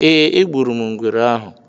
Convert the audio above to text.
Ee, egburu m ngwere ahụ.